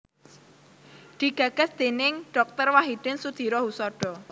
Digagas déning Dr Wahidin Sudirohusodo